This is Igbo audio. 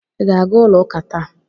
Ị ga-aga ụlọ ụka taa?